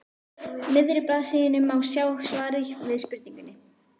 miðri blaðsíðunni má sjá svarið við spurningunni